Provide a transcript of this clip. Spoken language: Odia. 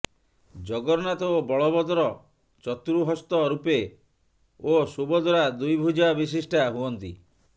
ଜଗନ୍ନାଥ ଓ ବଳଭଦ୍ର ଚତୁଃହସ୍ତ ରୂପେ ଓ ସୁଭଦ୍ରା ଦ୍ୱିଭୂଜ ବିଶିଷ୍ଟା ହୁଅନ୍ତି